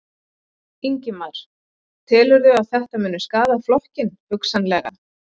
Ingimar: Telurðu að þetta muni skaða flokkinn, hugsanlega?